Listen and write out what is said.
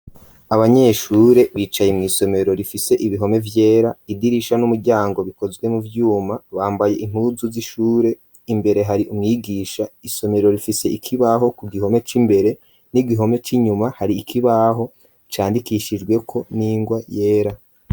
Abanyeshure bicaye mu isomero rifise ibihome vyera idirisha n'umuryango bikozwe mu vyuma bambaye impuzu z'ishure imbere hari umwigisha isomero rifise ikibaho ku gihome c'imbere n'igihome c'inyuma hari ikibaho candikishijwe ko ningwa yera.